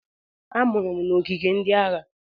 A mụrụ m n'ogige ndị agha.